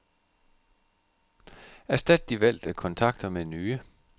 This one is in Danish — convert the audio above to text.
Erstat de valgte kontakter med nye.